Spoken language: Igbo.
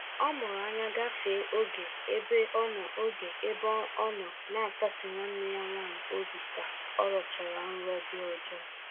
Ọ mụrụ anya gafee oge ebe ọnọ oge ebe ọnọ n'akasi nwanne ya nwaanyị obi ka ọrọchara nrọ dị ọjọọ